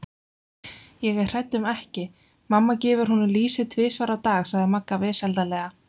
Ég er hrædd um ekki, mamma gefur honum lýsi tvisvar á dag sagði Magga vesældarlega.